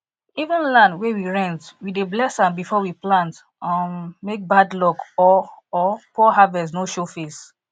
even land wey we rent we dey bless am before we plant um make bad luck or or poor harvest no show face